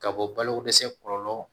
Ka bɔ balo dɛsɛ kɔlɔlɔ